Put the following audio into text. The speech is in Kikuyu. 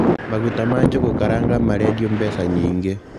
Maguta ma njũgũ karanga marendio mbeca nyingĩ.